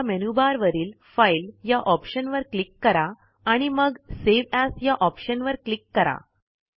आता मेनूबार वरील फाइल या ऑप्शनवर क्लिक करा आणि मग सावे एएस या ऑप्शनवर क्लिक करा